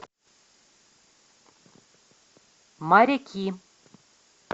моряки